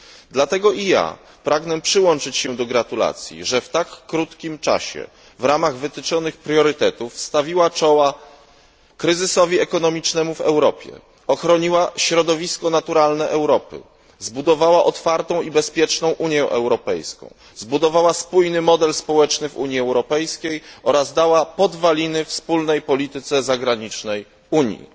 Dlatego i ja pragnę przyłączyć się do gratulacji, że w tak krótkim czasie, w ramach wytyczonych priorytetów, stawiła czoła kryzysowi ekonomicznemu w Europie, ochroniła środowisko naturalne Europy, zbudowała otwartą i bezpieczną Unię Europejską, zbudowała spójny model społeczny w Unii Europejskiej oraz dała podwaliny wspólnej polityce zagranicznej Unii.